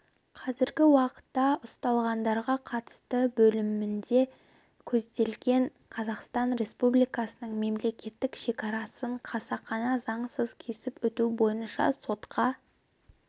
қазіргі уақытта ұсталғандарға қатысты бөлімінде көзделген қазақстан республикасының мемелкеттік шекарасын қасақана заңсыз кесіп өту бойынша сотқа